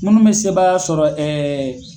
Minnu bɛ sebaaya sɔrɔ